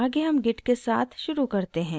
आगे हम git के साथ शुरू करते हैं